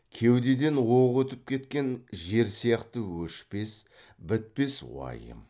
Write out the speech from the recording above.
кеудеден оқ өтіп кеткен жер сияқты өшпес бітпес уайым